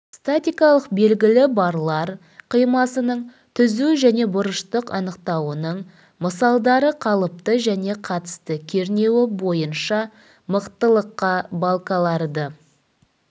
статикалық белгілі барлар қимасының түзу және бұрыштық анықтауының мысалдары қалыпты және қатысты кернеуі бойынша мықтылыққа балкаларды